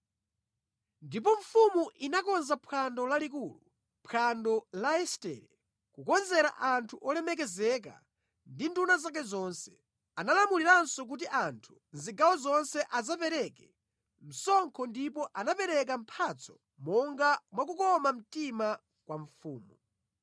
Ndipo mfumu inakonza phwando lalikulu, phwando la Estere, kukonzera anthu olemekezeka ndi nduna zake zonse. Analamuliranso kuti anthu mʼzigawo zonse asapereke msonkho ndipo anapereka mphatso monga mwakukoma mtima kwa mfumu.